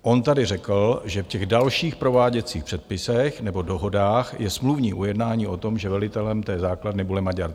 On tady řekl, že v těch dalších prováděcích předpisech nebo dohodách je smluvní ujednání o tom, že velitelem té základny bude Maďar.